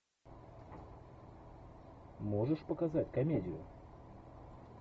можешь показать комедию